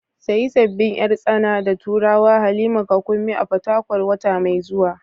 Sayi sabbin yar tsana da turawa Halima ka Kunmi a Fatakwal wata mai zuwa.